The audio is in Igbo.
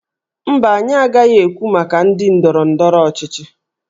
Mba, anyị agaghị ekwu maka ndị ndọrọ ndọrọ ọchịchị